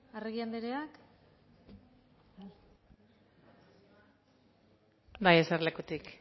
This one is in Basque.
arregi anderea bai eserlekutik